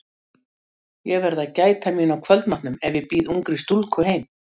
Ég verð að gæta mín á kvöldmatnum ef ég býð ungri stúlku heim.